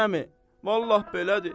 Hacı əmi, vallah belədir.